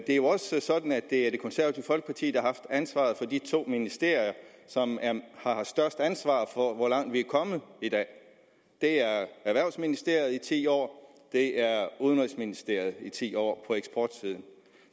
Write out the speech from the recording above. det er jo også sådan at det er det konservative folkeparti der har haft ansvaret for de to ministerier som har haft størst ansvar for hvor langt vi er kommet i dag det er økonomi og erhvervsministeriet i ti år det er udenrigsministeriet i ti år